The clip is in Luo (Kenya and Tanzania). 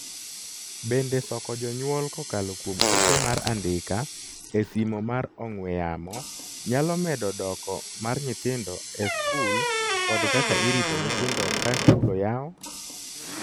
Bende soko jonyuol kokalo kuom ote mar andika e simo mar ong'we yamo nyalo medo doko mar nyithindo e skul kod kaka irito nyithindo ka skul oyaw?